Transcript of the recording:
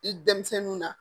I denmisɛnninw na